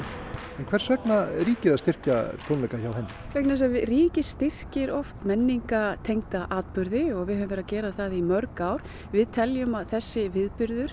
en hvers vegna ríkið að styrkja tónleika hjá henni vegna þess að ríkið styrkir oft menningartengda viðburði og við höfum verið að gera það í mörg ár við teljum að þessi viðburður